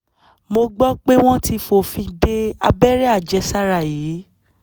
mo gbọ́ pé wọn ti fòfin de abẹ́rẹ́ àjẹsára yìí